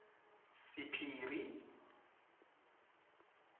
sephiri